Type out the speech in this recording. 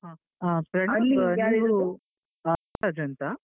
ಪೃಥ್ವೀರಾಜ್ ಅಂತ.